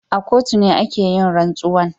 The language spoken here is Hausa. A kotu ne ake yin rantsuwa.